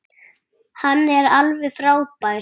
Hann er alveg frábær.